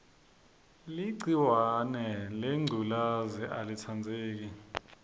ligciwahe lengculezi alitsandzeki